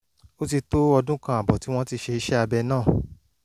ó ti tó ọdún kan ààbọ̀ tí wọ́n ti ṣe iṣẹ́ abẹ náà